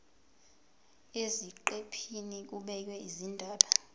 eziqephini kubhekwe izindaba